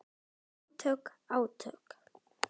Átök, átök.